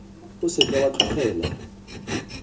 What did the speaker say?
o se ka wa tlogela